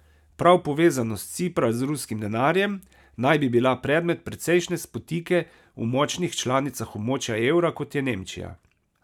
Prav povezanost Cipra z ruskim denarjem naj bi bila predmet precejšnje spotike v močnih članicah območja evra, kot je Nemčija.